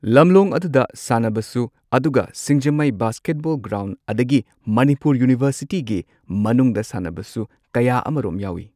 ꯂꯝꯂꯣꯡ ꯑꯗꯨꯗ ꯁꯥꯟꯅꯕꯁꯨ ꯑꯗꯨꯒ ꯁꯤꯡꯖꯃꯩ ꯕꯥꯁꯀꯦꯠꯕꯣꯜ ꯒ꯭ꯔꯥꯎꯟ ꯑꯗꯒꯤ ꯃꯅꯤꯄꯨꯔ ꯌꯨꯅꯤꯚꯔꯁꯤꯇꯤꯒꯤ ꯃꯅꯨꯡꯗ ꯁꯥꯟꯅꯕꯁꯨ ꯀꯌꯥ ꯑꯃꯔꯣꯝ ꯌꯥꯎꯋꯤ